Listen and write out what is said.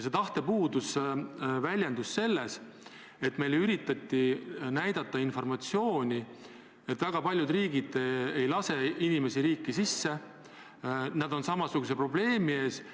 See tahte puudus väljendus selles, et meile üritati anda informatsiooni, et väga paljud riigid ei lase inimesi riiki sisse, nad on samasuguse probleemi ees.